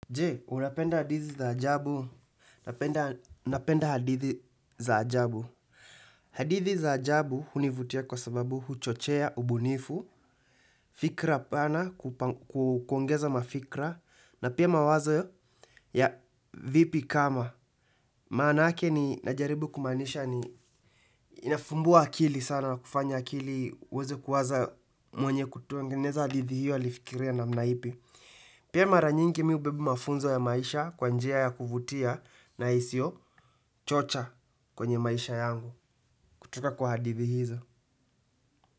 Je, unapenda hadithi za ajabu. Napenda hadithi za ajabu. Hadithi za ajabu hunivutia kwa sababu huchochea ubunifu, fikra pana, kuongeza mafikra, na pia mawazo ya vipi kama. Maanake ni najaribu kumaanisha ni inafumbua akili sana na kufanya akili, iweze kuwaza mwenye kutengeneza hadithi hiyo alifikiria namna ipi. Pia mara nyingi mi hubeba mafunzo ya maisha kwa njia ya kuvutia na isiyo chocha kwenye maisha yangu kutoka kwa hadithi hizo.